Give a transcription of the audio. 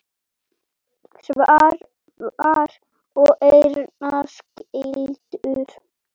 Svavar og Erna skildu.